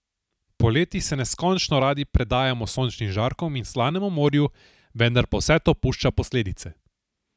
Poleti se neskončno radi predajamo sončnim žarkom in slanemu morju, vendar pa vse to pušča posledice.